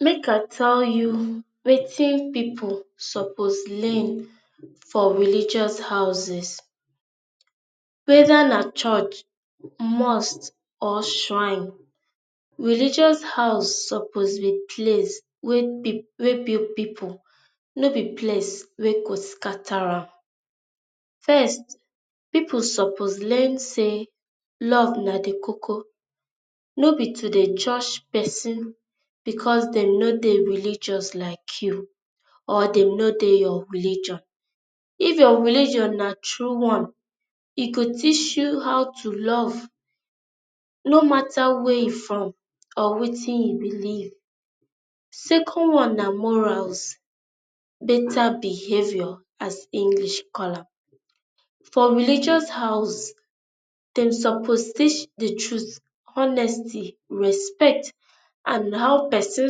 make i tell you wetin people suppose learn for religious houses weda na church, must or shirne, religious house suppose be place wey b weybring people no be place wey go scatter am. fIrst people suppose learn say love na the koko, no be to dey jush pesin because dey no dey religious like you or dem no dey your religion. if your religion na true one, e go teach you how to love no matter wey you from or wetin you believe. second one na morals, better behaviour as english call am. for religious house dem supose teach the truth, honesty, respect and how person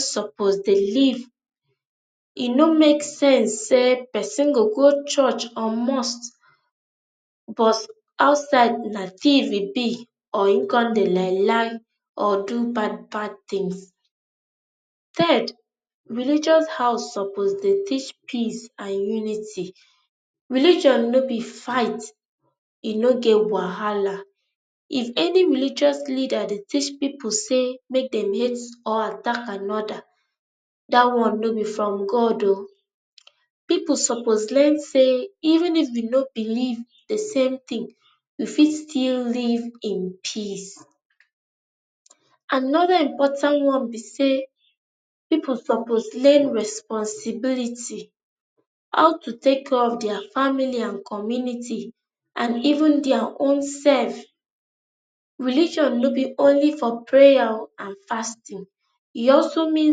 suppose dey live. e no make sense say pesin go go church or mustbut outside na thief e be or e con dey lie lie or do bad bad things. Third religious house suppose dey teach peace and unity. religon no be fight. e no get wahala. if any religion dey teach people say make dem hate or attack another, that one no be from God ooo. people suppose learn say even if we no believe the same thing we fit still live in peace another important one be say people suppose learn responsibility, how to take care care of there family and community and even their own self. Religion no be only for prayer and fasting, e also mean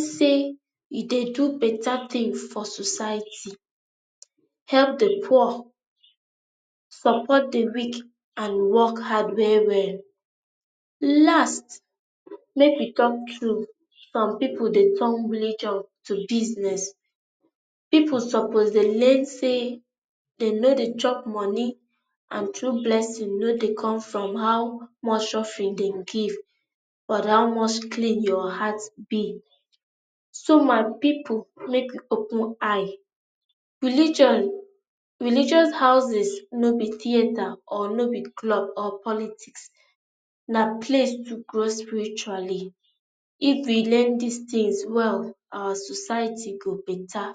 say you dey do better thing for society, help the poor support the weak and work hard well well. last make we talk true, some people dey turn religion to business. people suppose relate say dem no dey chop money and true blessing no dey come from how much offering dem go give but how much clean your heart be. so my people, make we open eye. religion religious houses no be theater or no be club or ploitics, na place to grow spiritually. if we learn these things well, our society go better.